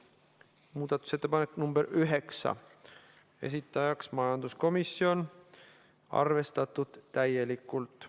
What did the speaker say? Muudatusettepanek nr 9, esitajaks majanduskomisjon, arvestatud täielikult.